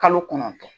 Kalo kɔnɔntɔn